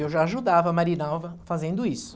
Eu já ajudava a Marinalva fazendo isso.